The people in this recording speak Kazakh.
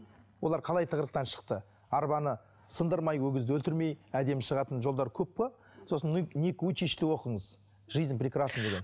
олар қалай тығырықтан шықты арбаны сындырмай өгізді өлтірмей әдемі шығатын жолдар көп қой сосын ник уйчичті оқыңыз жизнь прекрасна деген